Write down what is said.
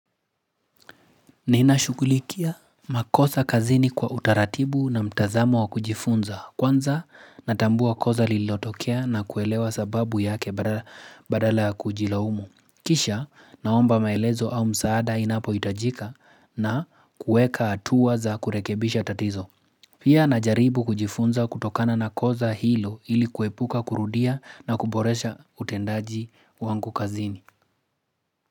Ninashughulikia makosa kazini kwa utaratibu na mtazamo wa kujifunza. Kwanza natambua kosa lilotokea na kuelewa sababu yake badala ya kujilaumu. Kisha naomba maelezo au msaada inapohitajika na kuweka hatua za kurekebisha tatizo. Pia najaribu kujifunza kutokana na kosa hilo ili kuepuka kurudia na kuboresha utendaji wangu kazini.